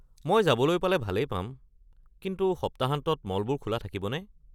মই যাবলৈ পালে ভালেই পাম, কিন্তু সপ্তাহান্তত মলবোৰ খোলা থাকিবনে?